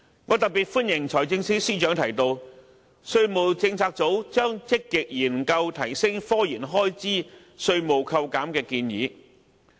我特別歡迎財政司司長提到，稅務政策組將積極研究提升科研開支稅務扣減的建議。